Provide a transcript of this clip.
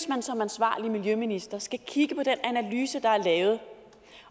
man som ansvarlig miljøminister skal kigge på den analyse der er lavet